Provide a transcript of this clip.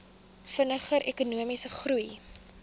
vinniger ekonomiese groei